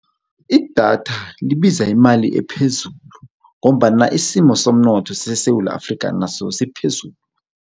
Idatha libiza imali ephezulu ngombana isimo somnotho seSewula Afrika naso siphezulu.